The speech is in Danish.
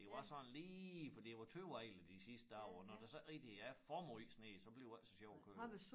Det var sådan lige for det var tøvejr de sidste dage og når der sådan ikke rigtig er for måj sne så bliver det ikke så sjovt at køre